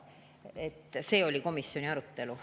Selline oli komisjoni arutelu.